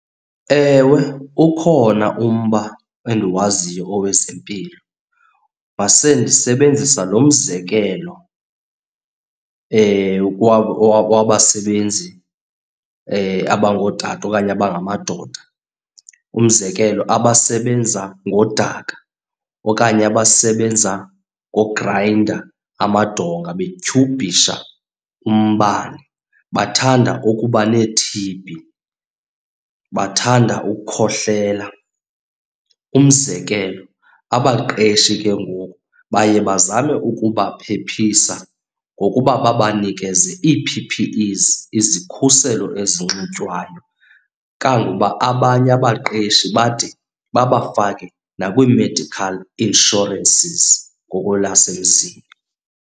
Ewe, ukhona umba endiwaziyo owezempilo. Mase ndisebenzisa lo mzekelo wabasebenzi abangootata okanye abangamadoda. Umzekelo abasebenza ngodaka okanye abasebenza ngograyinda amadonga betyhubhisha umbane, bathanda ukuba nee-T_B, bathanda ukukhohlela. Umzekelo abaqeshi ke ngoku baye bazame ukubaphephisa ngokuba banikeze ii-P_P_Es, izikhuselo ezinxitywayo. Kangokuba abanye abaqeshi bade babafake nakwii-medical insurances ngokwelasemzini.